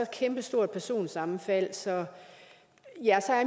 kæmpestort personsammenfald og så er